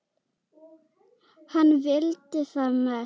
Hann vildi það mest.